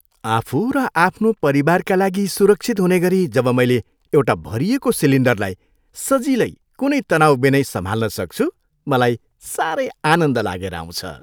आफू र आफ्नो परिवारका लागि सुरक्षित हुने गरी जब मैले एउटा भरिएको सिलिन्डरलाई सजिलै कुनै तनाउबिनै सम्हाल्न सक्छु मलाई सारै आनन्द लागेर आउँछ।